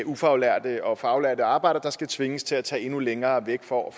ufaglærte og faglærte arbejdere der skal tvinges til at tage endnu længere væk for at